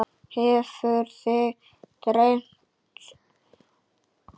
Hefur þig dreymt?